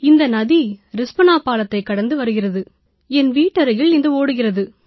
இந்த நதி ரிஸ்பனா பாலத்தைக் கடந்து வருகிறது என் வீட்டருகில் இது ஓடுகிறது